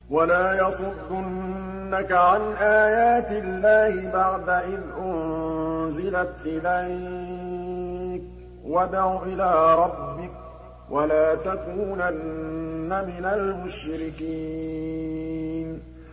وَلَا يَصُدُّنَّكَ عَنْ آيَاتِ اللَّهِ بَعْدَ إِذْ أُنزِلَتْ إِلَيْكَ ۖ وَادْعُ إِلَىٰ رَبِّكَ ۖ وَلَا تَكُونَنَّ مِنَ الْمُشْرِكِينَ